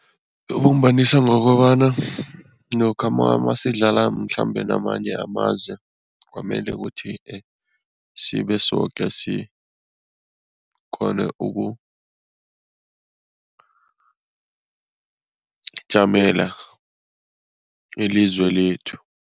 Ibumbanisa ngokobana lokha masidlala mhlambe namanye amazwe, kwamele ukuthi sibe soke sikghone ukujamela ilizwe lethu.